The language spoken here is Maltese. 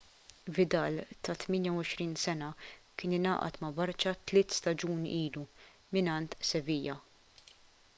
vidal ta' 28 sena kien ingħaqad ma' barça tliet staġuni ilu mingħand sevilla